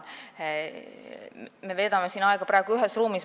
Me veedame praegu aega ühes ruumis.